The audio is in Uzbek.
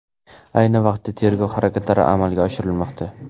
Ayni vaqtda tergov harakatlari amalga oshirilmoqda.